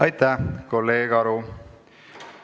Aitäh, kolleeg Aru!